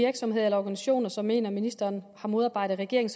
virksomheder eller organisationer som mener at ministeren har modarbejdet regeringen